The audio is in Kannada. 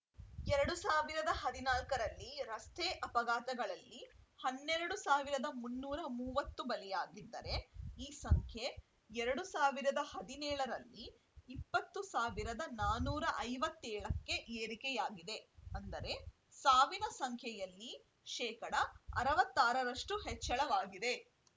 ಎರಡ್ ಸಾವಿರದ ಹದಿನಾಲ್ಕರಲ್ಲಿ ರಸ್ತೆ ಅಪಘಾತಗಳಲ್ಲಿ ಹನ್ನೆರಡ್ ಸಾವಿರದ ಮುನ್ನೂರ ಮೂವತ್ತು ಬಲಿಯಾಗಿದ್ದರೆ ಈ ಸಂಖ್ಯೆ ಎರಡ್ ಸಾವಿರದ ಹದಿನೇಳರಲ್ಲಿ ಇಪ್ಪತ್ತ್ ಸಾವಿರದ ನಾಲ್ಕುನೂರ ಐವತ್ತ್ ಏಳಕ್ಕೆ ಏರಿಕೆಯಾಗಿದೆ ಅಂದರೆ ಸಾವಿನ ಸಂಖ್ಯೆಯಲ್ಲಿ ಶೇಕಡಾ ಅರವತ್ತ್ ಆರರಷ್ಟುಹೆಚ್ಚಳವಾಗಿದೆ